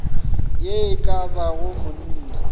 ye e ka bago monna